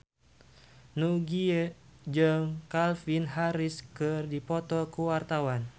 Nugie jeung Calvin Harris keur dipoto ku wartawan